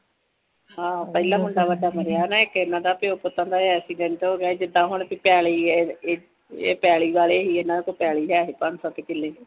ਹਾਂ ਪਹਿਲਾ ਮੁੰਡਾ ਵੱਡਾ ਮਰਿਆ ਹੈ ਇੱਕ ਇਹਨਾਂ ਦਾ ਪਿਓ ਪੁੱਤਾਂ ਦਾ। ਇਹ ਐਕਸੀਡੈਂਟ ਹੋਗਿਆ ਜਿਦਾ ਹੁਣ ਕਹਿ ਲਈਏ ਇਹ ਪੈਲੀ ਵਾਲੇ ਸੀ। ਇਹਨਾਂ ਕੋਲ ਪੈਲੀ ਹੈ ਸੀ ਪੰਜ ਸੱਤ ਕਿੱਲੇ।